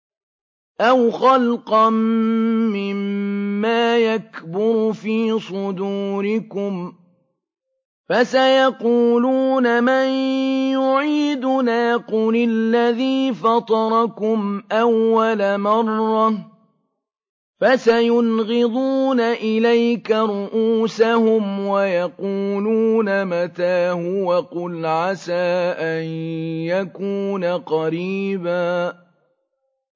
أَوْ خَلْقًا مِّمَّا يَكْبُرُ فِي صُدُورِكُمْ ۚ فَسَيَقُولُونَ مَن يُعِيدُنَا ۖ قُلِ الَّذِي فَطَرَكُمْ أَوَّلَ مَرَّةٍ ۚ فَسَيُنْغِضُونَ إِلَيْكَ رُءُوسَهُمْ وَيَقُولُونَ مَتَىٰ هُوَ ۖ قُلْ عَسَىٰ أَن يَكُونَ قَرِيبًا